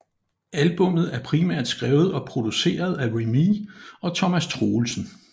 Albummet er primært skrevet og produceret af Remee og Thomas Troelsen